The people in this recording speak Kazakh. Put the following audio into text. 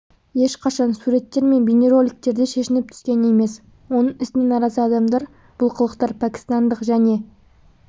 ешқашан суреттер мен бейнероликтерде шешініп түскен емес оның ісіне наразы адамдар бұл қылықтар пәкістандық және